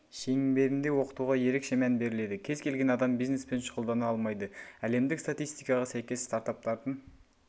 шеңберінде оқытуға ерекше мән беріледі кез келген адам бизнеспен шұғылдана алмайды әлемдік статистикаға сәйкес стартаптардың